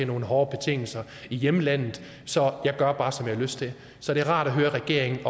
nogle hårde betingelser i hjemlandet så jeg gør bare som jeg har lyst til så det er rart at høre at regeringen